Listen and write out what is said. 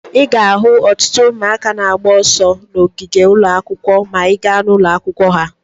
Ị ga-ahụ ọtụtụ ụmụaka na-agba ọsọ n'ogige ụlọ akwụkwọ ma ị gaa ụlọ akwụkwọ ha.